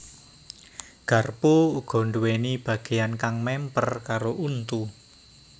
Garpu uga nduwèni bagéyan kang mèmper karo untu